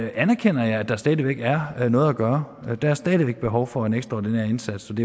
anerkender jeg at der stadig væk er noget at gøre der er stadig væk behov for en ekstraordinær indsats og